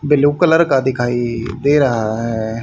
Blue colour का दिखाई दे रहा है।